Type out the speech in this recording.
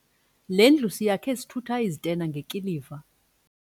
Le ndlu siyakhe sithutha izitena ngekiliva.